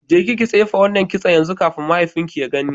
Jeki ki tsife wannan kitson yanzu kafin mahaifinki ya gani.